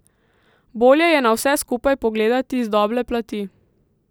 Bolje je na vse skupaj pogledati z doble plati.